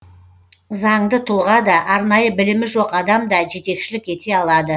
заңды тұлға да арнайы білімі жоқ адам да жетекшілік ете алады